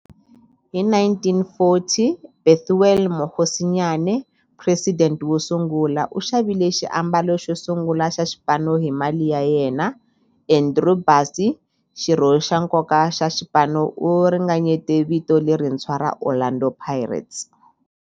Hi 1940, Bethuel Mokgosinyane, president wosungula, u xavile xiambalo xo sungula xa xipano hi mali ya yena. Andrew Bassie, xirho xa nkoka xa xipano, u ringanyete vito lerintshwa ra 'Orlando Pirates'.